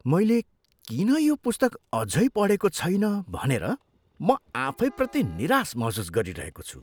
मैले किन यो पुस्तक अझै पढेको छैन भनेर म आफैप्रति निराश महसुस गरिरहेको छु।